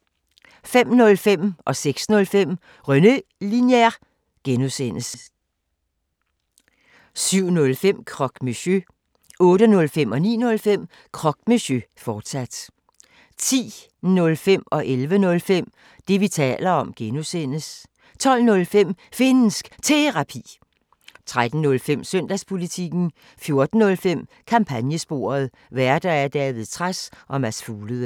05:05: René Linjer (G) 06:05: René Linjer (G) 07:05: Croque Monsieur 08:05: Croque Monsieur, fortsat 09:05: Croque Monsieur, fortsat 10:05: Det, vi taler om (G) 11:05: Det, vi taler om (G) 12:05: Finnsk Terapi 13:05: Søndagspolitikken 14:05: Kampagnesporet: Værter: David Trads og Mads Fuglede